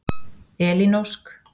Elín Ósk.